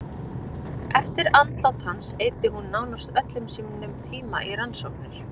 Eftir andlát hans eyddi hún nánast öllum sínum tíma við rannsóknir.